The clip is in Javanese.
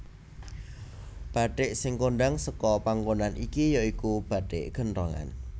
Bathik sing kondhang seka panggonan iki ya iku bathik genthongan